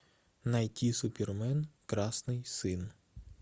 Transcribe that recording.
найти супермен красный сын